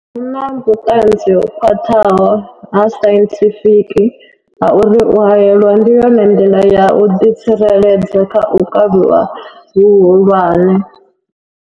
Huna vhuṱanzi ho khwaṱhaho ha sainthifiki ha uri u haelwa ndi yone nḓila ya u ḓi tsireledza kha u kavhiwa hu hulwane.